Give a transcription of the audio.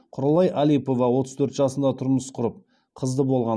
құралай алипова отыз төрт жасында тұрмыс құрып қызды болған